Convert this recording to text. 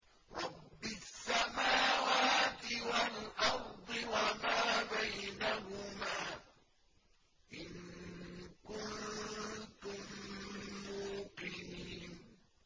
رَبِّ السَّمَاوَاتِ وَالْأَرْضِ وَمَا بَيْنَهُمَا ۖ إِن كُنتُم مُّوقِنِينَ